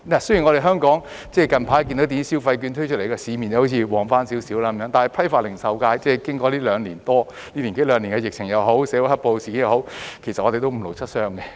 雖然近來電子消費券推出後，香港的市面好像興旺了一點，但批發及零售界經過這一年多兩年的疫情或社會"黑暴"事件，已經五勞七傷。